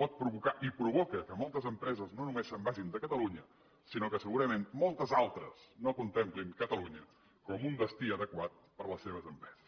pot provocar i provoca que moltes empreses no només se’n vagin de catalunya sinó que segurament moltes altres no contemplin catalunya com un destí adequat per a les seves empreses